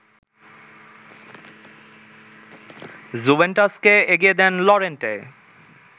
জুভেন্টাসকে এগিয়ে দেন লরেন্তে